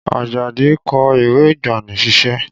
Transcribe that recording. Ajadi kọ ìwé ìgbani-sísẹ́